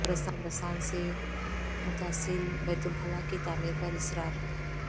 قبرستان سے متصل بیت الخلا کی تعمیر پر اصرار